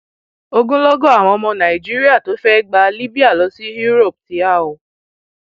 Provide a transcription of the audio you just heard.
ogunlọgọ àwọn ọmọ nàìjíríà tó fẹẹ gba libya lọ sí europe ti há o